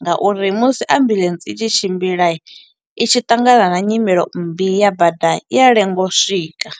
nga uri musi ambuḽentse i tshi tshimbila, i tshi ṱangana na nyimele mmbi ya bada, i ya lenga u swika.